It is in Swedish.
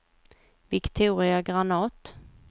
Viktoria Granath